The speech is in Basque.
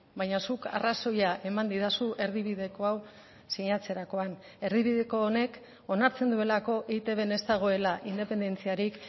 baina zuk arrazoia eman didazu erdibideko hau sinatzerakoan erdibideko honek onartzen duelako eitbn ez dagoela independentziarik